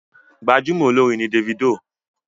Gbajúmọ̀ olórin ni Davido.